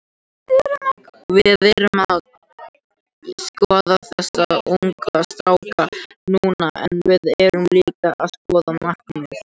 Við erum að skoða þessa ungu stráka núna en við erum líka að skoða markaðinn.